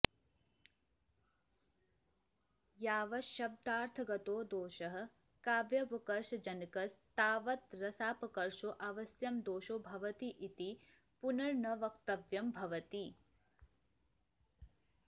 यावच्छब्दार्थगतो दोषः काव्यापकर्षजनकस्तावत् रसापकर्षकोऽवश्यं दोषो भवतीति पुनर्न वक्तव्यं भवति